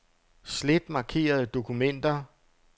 Slet markerede dokumenter.